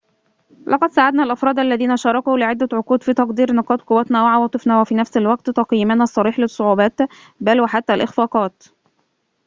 لقد ساعدنا الأفراد الذين شاركوا لعدة عقود في تقدير نقاط قوتنا وعواطفنا وفي نفس الوقت تقييمنا الصريح للصعوبات بل وحتى الإخفاقات